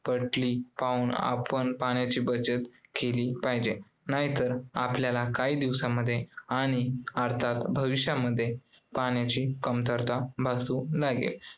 पटली पाहून आपण पाण्याची बचत केली पाहिजे, नाहीतर आपल्याला काही दिवसामध्ये आणि भविष्यामध्ये पाण्याची कमतरता भासू लागेल